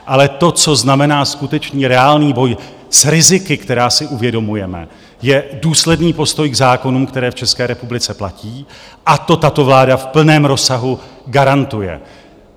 Ale to, co znamená skutečný, reálný boj s riziky, která si uvědomujeme, je důsledný postoj k zákonům, které v České republice platí, a to tato vláda v plném rozsahu garantuje.